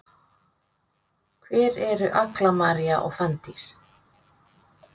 Hvar eru Agla María og Fanndís?